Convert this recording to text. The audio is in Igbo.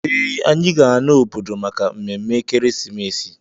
Ee, anyị ga-ana obodo maka mmemme ekeresimesi